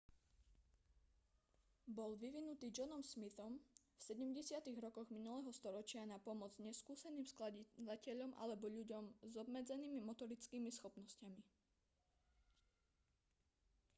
bol vyvinutý johnom smithom v 70. rokoch minulého storočia na pomoc neskúseným skladateľom alebo ľuďom s obmedzenými motorickými schopnosťami